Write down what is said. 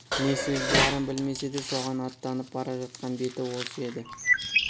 не сөз барын білмесе де соған аттанып бара жатқан беті осы еді